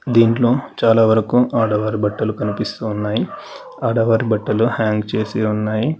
దీంట్లో చాలావరకు ఆడవారి బట్టలు కనిపిస్తున్నాయి ఆడవారి బట్టలు హ్యాంగ్ చేసి ఉన్నాయి